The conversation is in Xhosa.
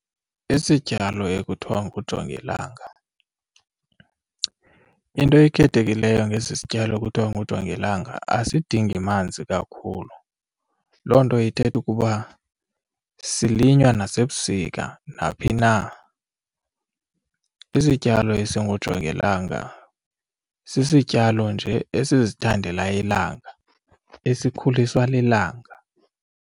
Isityalo ekuthiwa ngujongilanga, into ekhethekileyo ngesi sityalo ekuthiwa ngujongilanga asidingi manzi kakhulu. Loo nto ithetha ukuba silinywa nasebusika naphi na. Isityalo esingujongilanga sisityalo nje esizithandela ilanga esikhuliswa lilanga.